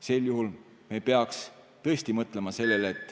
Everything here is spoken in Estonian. Sel juhul me peaks tõesti mõtlema sellele ...